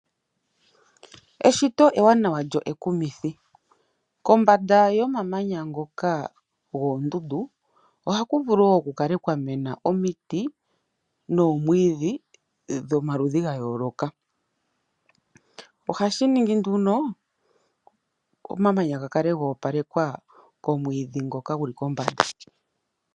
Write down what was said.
Eshito ewanawa lyo ekumithi, kombanda yomamanya ngoka goondundu ohaku vulu wo ku kale kwa mena omiti noomwiidhi dhomaludhi ga yooloka. Ohashi ningi nduno omamanya ga kale ga opalekwa komwiidhi ngoka gu li kombanda.